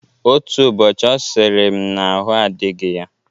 Otu ụbọchị ọ sịrị m n'ahụ adịghị ya.